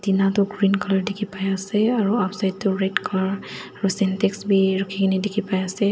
ena toh green colour dikhipaiase aro outside toh red colour aru sentix bi rukhina dikhi paiase.